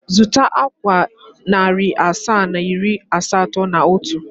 Zụta akwa narị asaa na iri asatọ na otu.